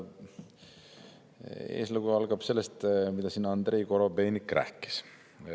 Eeslugu algab sellest, mida siin Andrei Korobeinik rääkis.